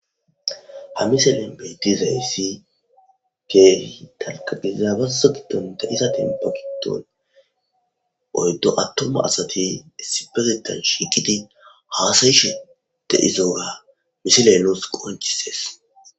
ha miselen beetizayssi keehi dalga gidiza bazo giddonta iza tenpogiton oyddo attoma asati sipezetan shiiqidi haasayishete izoora misileloos qoncisees